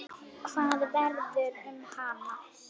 Hvað verður um hann?